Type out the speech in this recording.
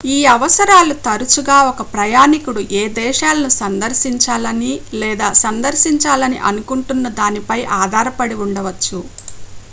ఈ అవసరాలు తరచుగా ఒక ప్రయాణికుడు ఏ దేశాలను సందర్శించాలని లేదా సందర్శించాలని అనుకుంటున్నదానిపై ఆధారపడి ఉండవచ్చు